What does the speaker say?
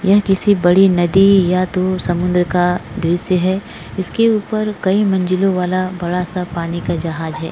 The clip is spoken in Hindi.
यह किसी बडी नदी या तो समुन्द्र का द्रुश्य है इसके ऊपर कई मंजिलोवाला बड़ा सा पानी का जहाज है।